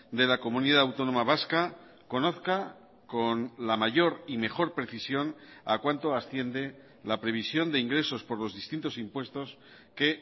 de la comunidad autónoma vasca conozca con la mayor y mejor precisión a cuánto asciende la previsión de ingresos por los distintos impuestos que